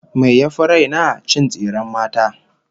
Me yafi raina? Cin tsiren mata